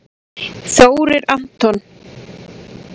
Þórir Anton